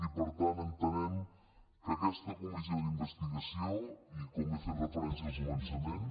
i per tant entenem que aquesta comissió d’investigació i com hi he fet referència al començament